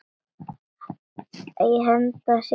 Henda sér í sjóinn?